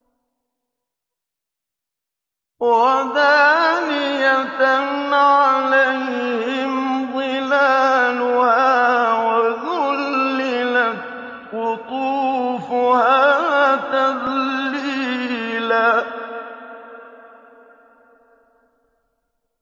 وَدَانِيَةً عَلَيْهِمْ ظِلَالُهَا وَذُلِّلَتْ قُطُوفُهَا تَذْلِيلًا